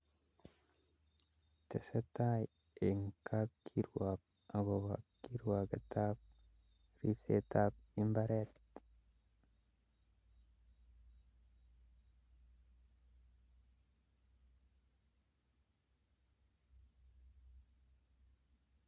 Tesetabtai eng kapkirwork akobo kirwoketab repsetab imbaret?